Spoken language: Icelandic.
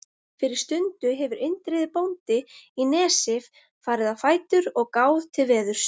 Fyrir stundu hefur Indriði bóndi í Nesi farið á fætur og gáð til veðurs.